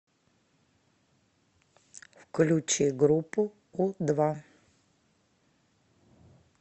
включи группу у два